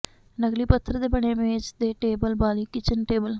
ਨਕਲੀ ਪੱਥਰ ਦੇ ਬਣੇ ਮੇਜ਼ ਦੇ ਟੇਬਲ ਵਾਲੀ ਕਿਚਨ ਟੇਬਲ